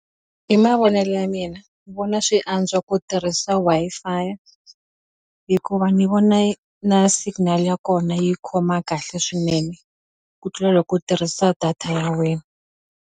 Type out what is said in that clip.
Hi mavonelo ya mina ni vona swi antswa ku tirhisa Wi-Fi hikuva ni vona yi na signal ya kona yi khoma kahle swinene ku tlula loko u tirhisa data ya wena.